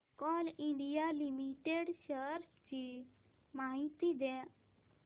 Coal India limited shares ची माहिती द्या